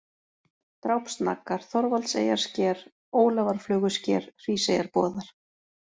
Drápsnaggar, Þorvaldseyjarsker, Ólafarflögusker, Hríseyjarboðar